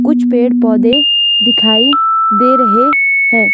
कुछ पेड़ पोधे दिखाइ दे रहे हैं।